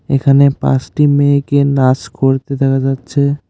এখানে পাঁসটি মেয়েকে নাস করতে দেখা যাচ্ছে ।